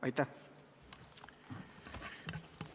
Aitäh!